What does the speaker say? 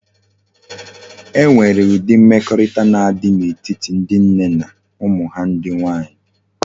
E nwere udi mmekorita na adi na etiti ndi nne na umu ha ndi nwanyi